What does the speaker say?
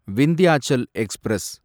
Vindhyachal express